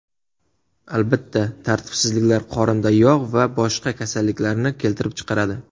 Albatta, tartibsizliklar qorinda yog‘ va boshqa kasalliklarni keltirib chiqaradi.